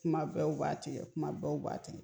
Kuma bɛɛ u b'a tigɛ kuma bɛɛ u b'a tigɛ